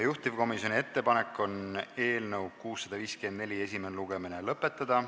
Juhtivkomisjoni ettepanek on eelnõu 654 esimene lugemine lõpetada.